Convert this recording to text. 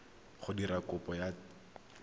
go dira kopo ya taelo